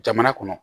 Jamana kɔnɔ